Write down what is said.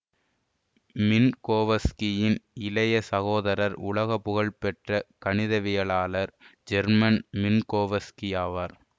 மின்கோவஸ்கியின் இளைய சகோதரர் உலக புகழ் பெற்ற கணிதவியலாளர் ஹெர்மன் மின்கோவஸ்கி ஆவார்